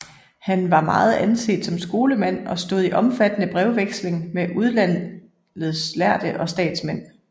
Han var meget anset som skolemand og stod i omfattende brevveksling med udlandets lærde og statsmænd